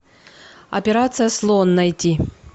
операция слон найди